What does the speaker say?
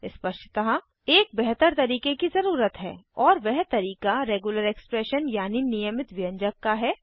स्पष्टतः एक बेहतर तरीके की ज़रुरत है और वह तरीका रेग्युलर एक्सप्रेशन यानि नियमित व्यंजक का है